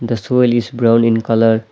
The soil is brown in colour .